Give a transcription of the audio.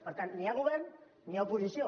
per tant ni hi ha govern ni hi ha oposició